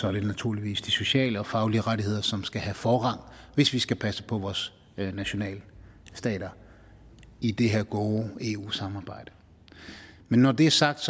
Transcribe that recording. er det naturligvis de sociale og faglige rettigheder som skal have forrang hvis vi skal passe på vores nationalstater i det her gode eu samarbejde men når det er sagt